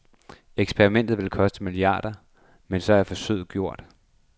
Eksperimentet vil koste milliarder, men så er forsøget gjort.